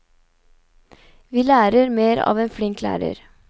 Vi lærer mer av en flink lærer.